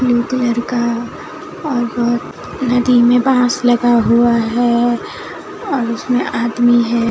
Blue colour का और बहुत नदी में बांस लगा हुआ है और उसमें आदमी है।